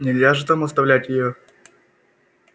нельзя же там оставлять её